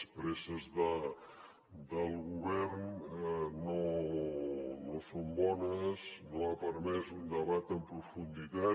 les presses del govern no són bones no han permès un debat amb profunditat